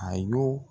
A y'o